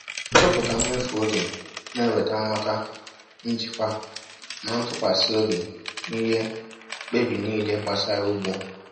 tụpụta mmefu ego na-eweta nghọta, njikwa, na ntụkwasị obi n’ihe mkpebi niile gbasara ugbo.